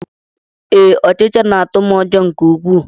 Ee, ọchịcha na-atụ m ụjọ nke ukwuu